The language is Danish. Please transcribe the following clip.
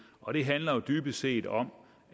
og det handler jo dybest set om